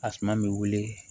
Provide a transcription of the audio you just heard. A suma bɛ wili